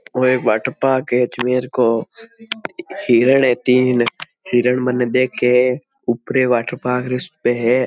ओ एक वाटरपार्क है अजमेर को हिरण है तीन हिरण मने देखे ऊपरे वाटरपार्क पे है।